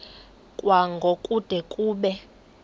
kwango kude kube